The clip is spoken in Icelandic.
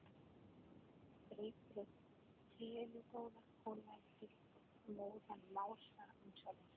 Dreypir á teinu góða og lætur móðan mása um sjálfan sig.